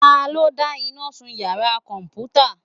Talọ́ dá iná sún iyàrá kọmputa?